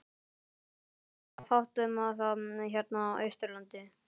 En það var fátt um það hérna á Austurlandi.